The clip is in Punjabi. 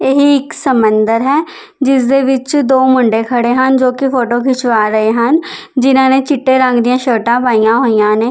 ਇਹ ਇੱਕ ਸਮੁੰਦਰ ਹੈ ਜਿਸਦੇ ਵਿੱਚ ਦੋ ਮੁੰਡੇ ਖੜੇ ਹਨ ਜੋ ਕਿ ਫੋਟੋ ਖਿਚਵਾ ਰਹੇ ਹਨ ਜਿਨਾਂ ਨੇ ਚਿੱਟੇ ਰੰਗ ਦੀਆਂ ਸ਼ਰਟਾਂ ਪਾਈਆਂ ਹੋਈਆਂ ਨੇ--